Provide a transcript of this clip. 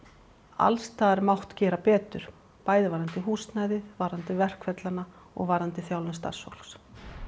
alls staðar mátt gera betur bæði varðandi húsnæðið varðandi verkferlana og varðandi þjálfun starfsfólks